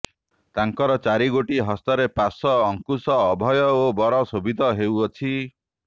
ତାଙ୍କର ଚାରିଗୋଟି ହସ୍ତରେ ପାଶ ଅଙ୍କୁଶ ଅଭୟ ଓ ବର ଶୋଭିତ ହେଉଅଛି